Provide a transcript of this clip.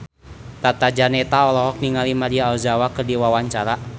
Tata Janeta olohok ningali Maria Ozawa keur diwawancara